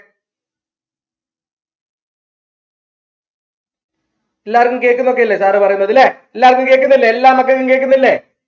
എല്ലാർക്കും കേക്ക്ന്നൊക്കെഇല്ലേ sir പറയുന്നത് ല്ലേ എല്ലാർക്കും കേക്ക്ന്നില്ലേ എല്ലാ മക്കക്കും കേക്ക്ന്നില്ലേ